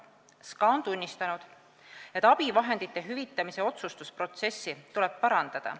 Sotsiaalkindlustusamet on tunnistanud, et abivahendite hüvitamise otsustusprotsessi tuleb parandada.